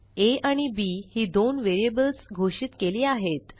आ आणि बी ही दोन व्हेरिएबल्स घोषित केली आहेत